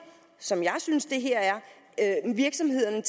som jeg synes at det her er virksomhederne